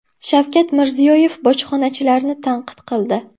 Shavkat Mirziyoyev bojxonachilarni tanqid qildi.